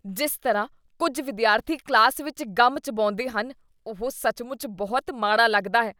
ਜਿਸ ਤਰ੍ਹਾਂ ਕੁੱਝ ਵਿਦਿਆਰਥੀ ਕਲਾਸ ਵਿੱਚ ਗਮ ਚਬਾਉਂਦੇ ਹਨ, ਉਹ ਸੱਚਮੁੱਚ ਬਹੁਤ ਮਾੜਾ ਲੱਗਦਾ ਹੈ।